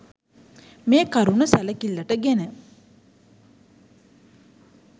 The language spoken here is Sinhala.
මේ කරුණු සැලකිල්ලට ගෙන